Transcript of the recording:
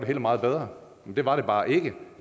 var meget bedre i det var det bare ikke